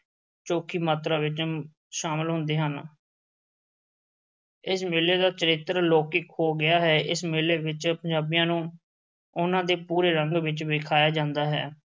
ਚੋਖੀ ਮਾਤਰਾ ਵਿੱਚ ਸ਼ਾਮਲ ਹੁੰਦੇ ਹਨ ਇਸ ਮੇਲੇ ਦਾ ਚਰਿੱਤਰ ਲੌਕਿਕ ਹੋ ਗਿਆ ਹੈ, ਇਸ ਮੇਲੇ ਵਿੱਚ ਪੰਜਾਬੀਆਂ ਨੂੰ ਉਹਨਾਂ ਦੇ ਪੂਰੇ ਰੰਗ ਵਿੱਚ ਵਖਾਇਆ ਜਾਂਦਾ ਹੈ।